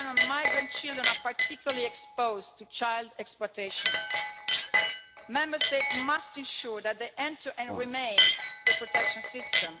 Migrant children are particularly exposed to child exploitation. Member States must ensure that they enter and remain in the protection system.